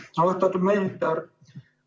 Suur tänu!